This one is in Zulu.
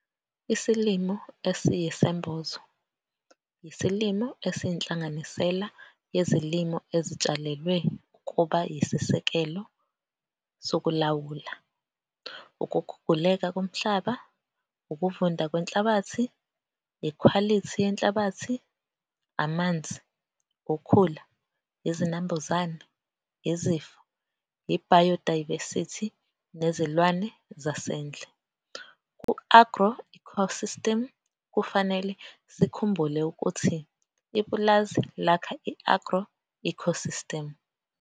Isilimo esiyisembozo yisilimo esiyinhlanganisela yezilimo ezitshalelwe ukuba yisisekelo sokulawula ukuguguleka komhlaba, ukuvunda kwenhlabathi, ikhwalithi yenhlabathi, amanzi, ukhula, izinambuzane, izifo, i-biodiversity nezilwane zasendle ku-agro-ecosystem. Kufanele sikhumbule ukuthi ipulazi lakha i-agro-ecosystem.